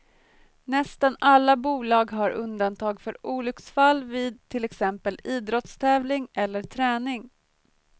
Nästan alla bolag har undantag för olycksfall vid till exempel idrottstävling eller träning.